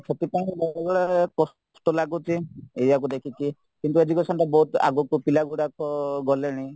ସବୁବେଳେ କଷ୍ଟ ଲାଗୁଛି ଏଇୟାକୁ ଦେଖିକି କିନ୍ତୁ educationରେ ବହୁତ ଆଗକୁ ପିଲାଗୁଡାକ ଗଲେଣି